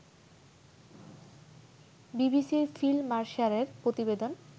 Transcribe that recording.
বিবিসির ফিল মারসারের প্রতিবেদন